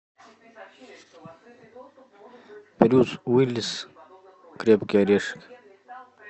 брюс уиллис крепкий орешек